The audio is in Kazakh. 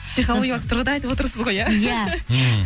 психологиялық тұрғыда айтып отырсыз ғой иә иә мхм